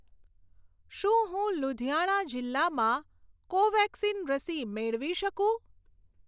શું હું લુધિયાણા જિલ્લામાં કોવેક્સિન રસી મેળવી શકું?